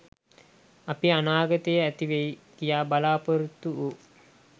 අපි අනාගතේ ඇතිවෙයි කියා බලාපොරොත්තු වූ